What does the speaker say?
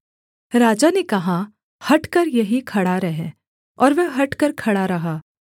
राजा ने कहा हटकर यहीं खड़ा रह और वह हटकर खड़ा रहा